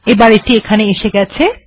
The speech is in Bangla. এটি এখানে এসে গেছে